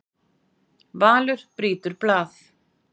Valur brýtur blað